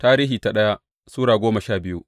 daya Tarihi Sura goma sha biyu